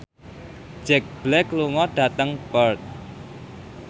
Jack Black lunga dhateng Perth